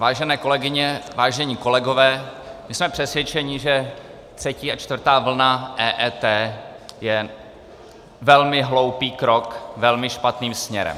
Vážené kolegyně, vážení kolegové, my jsme přesvědčeni, že třetí a čtvrtá vlna EET je velmi hloupý krok velmi špatným směrem.